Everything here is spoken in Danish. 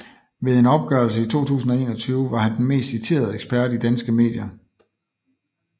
Ved en opgørelse i 2021 var han den mest citerede ekspert i danske medier